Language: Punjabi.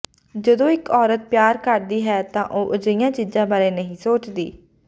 ਜਦੋਂ ਇਕ ਔਰਤ ਪਿਆਰ ਕਰਦੀ ਹੈ ਤਾਂ ਉਹ ਅਜਿਹੀਆਂ ਚੀਜ਼ਾਂ ਬਾਰੇ ਨਹੀਂ ਸੋਚਦੀ